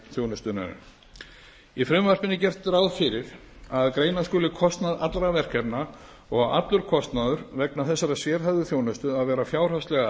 þjónustunnar í frumvarpinu er gert ráð fyrir að greina skuli kostnað allra verkefna og á allur kostnaður vegna þessarar sérhæfðu þjónustu að vera fjárhagslega